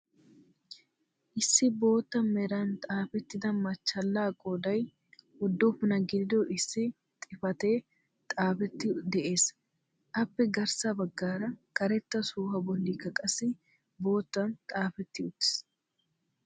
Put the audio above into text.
issi bootta meran xaafettida machchaallaa qooday uduppunaa gidido issi xifatee xaafetti de'ees. appe garssa baggaara karetta sohuwaa bollikka qassi boottan xaafetti uttiis.